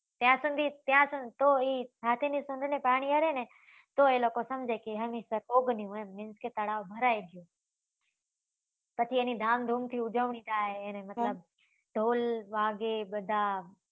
ત્યાં સુધી ત્યાં હાથી ની સુંઢ ની પાણી અડે ને તો એ લોકો સમજે કે હમીરસર પોગન્યું એમ means કે તળાવ ભરાઈ ગયું પછી એની ધામ ધૂમ થી ઉજવણી થાય અને મતલબ ઢોલ વાગે બધા